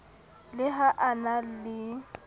le ha a na le